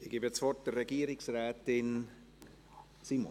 Ich gebe das Wort Regierungsrätin Simon.